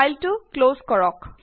ফাইলটো ক্লজ কৰক